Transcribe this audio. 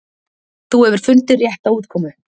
þú hefur fundið rétta útkomu